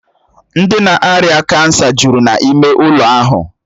Ndị ná-ária kansa jụrụ n'ịme ụlọ ahụ